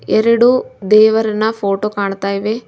ಎರಡು ದೇವರನ ಫೋಟೋ ಕಾಣ್ತಾ ಇವೆ.